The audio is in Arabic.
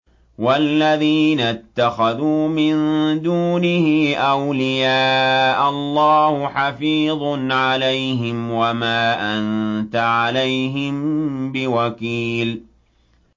وَالَّذِينَ اتَّخَذُوا مِن دُونِهِ أَوْلِيَاءَ اللَّهُ حَفِيظٌ عَلَيْهِمْ وَمَا أَنتَ عَلَيْهِم بِوَكِيلٍ